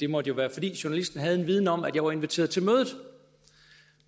måtte være fordi journalisten havde en viden om at jeg var inviteret til mødet